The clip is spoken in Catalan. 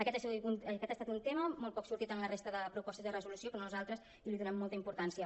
aquest ha estat un tema molt poc sortit en la resta de propostes de resolució que nosaltres hi donem molta importància